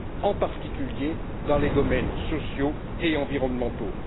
en particulier dans les domaines sociaux et environnementaux.